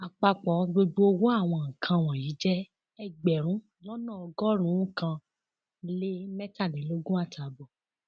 àpapọ gbogbo owó àwọn nǹkan wọnyí jẹ ẹgbẹrún lọnà ọgọrùnún kan lé mẹtàlélógún àtààbọ